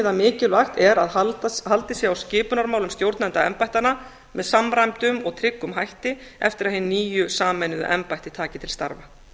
að mikilvægt er að haldið sé á skipunarmálum stjórnenda embættanna með samræmdum og tryggum hætti eftir að hin nýju sameinuðu embætti taki til starfa